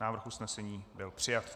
Návrh usnesení byl přijat.